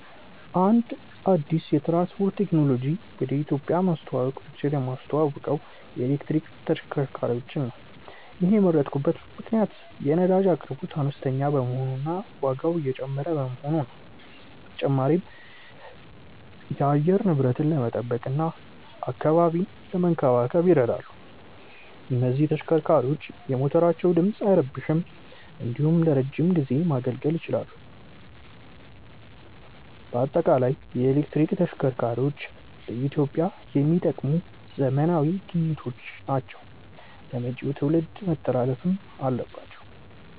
አንድ አዲስ የትራንስፖርት ቴክኖሎጂን ወደ ኢትዮጵያ ማስተዋወቅ ብችል የማስተዋውቀው የኤሌክትሪክ ተሽከርካሪዎችን ነው። ይሔንን የመረጥኩበት ምክንያት የነዳጅ አቅርቦት አነስተኛ በመሆኑ እና ዋጋው እየጨመረ በመሆኑ ነው። በተጨማሪም የአየር ንብረትን ለመጠበቅ እና አካባቢን ለመንከባከብ ይረዳሉ። እነዚህ ተሽከርካሪዎች የሞተራቸው ድምፅ አይረብሽም እንዲሁም ለረዥም ጊዜ ማገልገል ይችላሉ። በአጠቃላይ የኤሌክትሪክ ተሽከርካሪዎች ለኢትዮጵያ የሚጠቅሙ ዘመናዊ ግኝቶች ናቸው ለመጪው ትውልድ መተላለፍም አለባቸው።